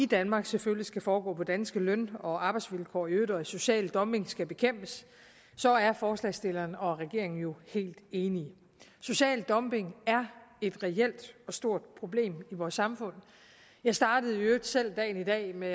i danmark selvfølgelig skal foregå på danske løn og arbejdsvilkår og i øvrigt at social dumping skal bekæmpes så er forslagsstillerne og regeringen jo helt enige social dumping er et reelt og stort problem i vores samfund jeg startede i øvrigt selv dagen i dag med